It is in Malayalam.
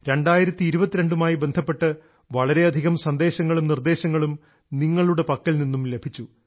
2022 മായി ബന്ധപ്പെട്ട് വളരെയധികം സന്ദേശങ്ങളും നിർദ്ദേശങ്ങളും നിങ്ങളുടെ പക്കൽനിന്നും ലഭിച്ചു